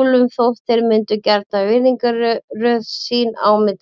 úlfum þótt þeir myndi gjarnan virðingarröð sín á milli.